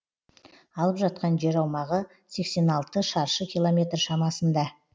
алып жатқан жер аумағы сексен алты шаршы километр шамасында